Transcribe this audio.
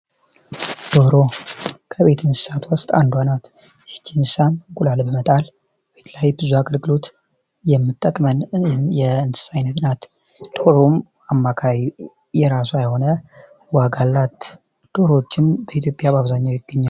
ዶሮ ከቤት እንስሳት አንዷ ናት። ይች እንስሳም እንቁላል በመጣል ቤት ላይ ብዙ አገልግሎት የምትጠቅመን የእንስሳት አይነት ናት። ዶሮም የራሷ አማካኝ የሆነ ዋጋ አላት። ዶሮዎችም በኢትዮጵያ በአብዛኛው ይገኛሉ።